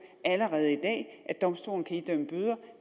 allerede i dag nemlig at domstolen kan idømme bøder